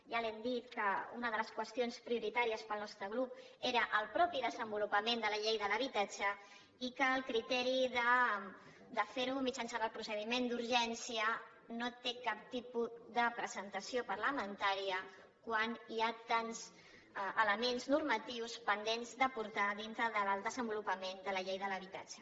ja li hem dit que una de les qüestions prioritàries per al nostre grup era el mateix desenvolupament de la llei de l’habitatge i que el criteri de fer ho mitjançant el procediment d’urgència no té cap tipus de presentació parlamentària quan hi ha tants elements normatius pendents d’aportar dintre del desenvolupament de la llei de l’habitatge